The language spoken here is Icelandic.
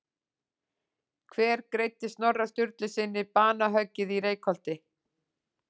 Hver greiddi Snorra Sturlusyni banahöggið í Reykholti?